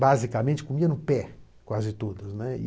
basicamente, comia no pé quase todas, né. E